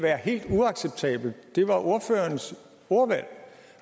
være helt uacceptabelt det var ordførerens ordvalg